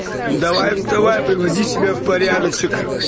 мм давай вставай приводить себя в порядочек